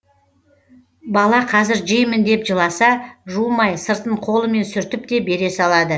бала қазір жеймін деп жыласа жумай сыртын қолымен сүртіп те бере салады